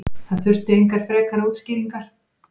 Það þurfti engar frekari útskýringar.